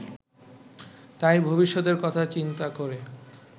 তাই ভবিষ্যতের কথা চিন্তা করে